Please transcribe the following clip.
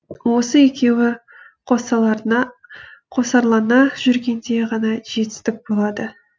осы екеуі қосарлана жүргенде ғана жетістік болады